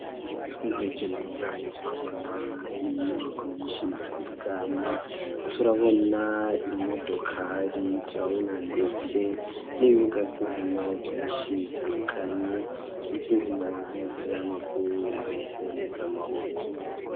Twihweje neza turabona inyubako nyinshi zitandukanye, turabona imodokari, turabona ndetse n'ibibuga by'inkino byinshi bitandukanye iby'inkino by'imipira w'amaguru ndetse ni y'amaboko.